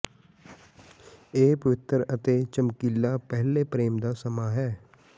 ਇਹ ਪਵਿੱਤਰ ਅਤੇ ਚਮਕੀਲਾ ਪਹਿਲੇ ਪ੍ਰੇਮ ਦਾ ਸਮਾਂ ਹੈ